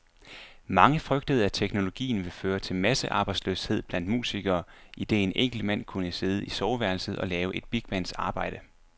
Mange frygtede, at teknologien ville føre til massearbejdsløshed blandt musikere, idet en enkelt mand kunne sidde i soveværelset og lave et bigbands arbejde.